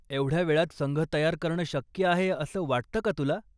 एवढ्या वेळात संघ तयार करणं शक्य आहे असं वाटतं का तुला?